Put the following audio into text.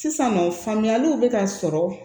Sisannɔ famuyaliw bɛ ka sɔrɔ